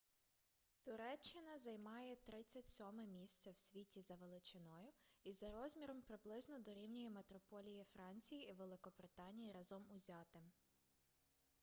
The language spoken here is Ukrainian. туреччина займає 37-е місце в світі за величиною і за розміром приблизно дорівнює метрополії франції і великобританії разом узятим